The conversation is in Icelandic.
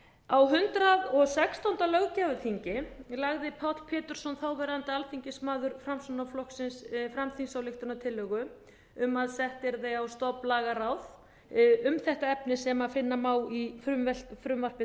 á hundrað og sextándu löggjafarþingi lagði páll pétursson þáverandi alþingismaður framsóknarflokksins fram þingsályktunartillögu um að sett yrði á stofn lagaráð um þetta efni sem finna má í frumvarpi